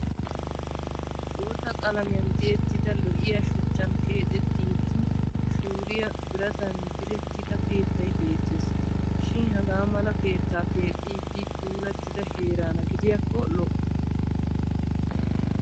Bootta qalamiyaan tiyettida lo'iyaa shuchchan keexettiiddi shuuriya biratan direettida keettay beettes. Shin hagaa mala keettaa keexxiiddi puulattida heeraana gidiyakko lo'o.